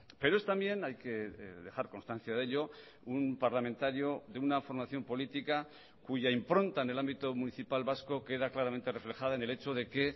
pero es también hay que dejar constancia de ello un parlamentario de una formación política cuya impronta en el ámbito municipal vasco queda claramente reflejada en el hecho de que